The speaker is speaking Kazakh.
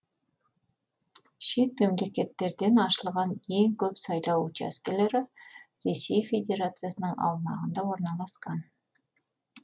шет мемлекеттерден ашылған ең көп сайлау учаскелері ресей федерациясының аумағында орналасқан